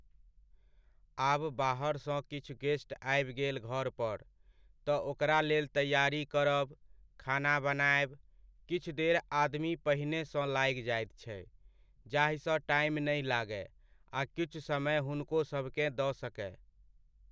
आब बाहरसँ किछु गेस्ट आबि गेल घर पर, तऽ ओकरा लेल तैआरी करब, खाना बनायब, किछु देर आदमी पहिनेसँ लागि जाइत छै जाहिसँ टाइम नहि लागय आ किछु समय हुनकोसभकेँ दऽ सकय।